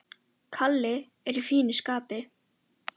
Kalli er í fínu skapi.